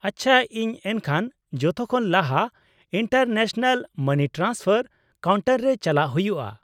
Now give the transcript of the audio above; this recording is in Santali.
-ᱟᱪᱪᱷᱟ, ᱤᱧ ᱮᱱᱠᱷᱟᱱ ᱡᱚᱛᱚᱠᱷᱚᱱ ᱞᱟᱦᱟ ᱤᱱᱴᱟᱨᱱᱮᱥᱱᱟᱞ ᱢᱟᱱᱤ ᱴᱨᱟᱱᱥᱯᱷᱟᱨ ᱠᱟᱣᱩᱱᱴᱟᱨ ᱨᱮ ᱪᱟᱞᱟᱜ ᱦᱩᱭᱩᱜᱼᱟ ?